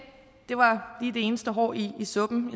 det var det eneste hår i suppen